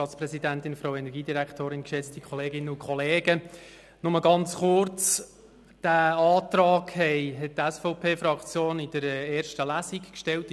Die SVP-Fraktion hat diesen Antrag in der ersten Lesung in der Kommission gestellt.